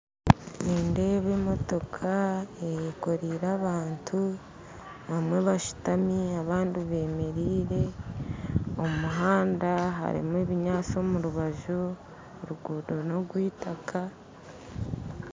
Nindeeba emotoka eyekoreire abantu bamwe bashutami abandi bemereire omuhanda harumu ebinyantsi omurubaju oruguudo norwitaka.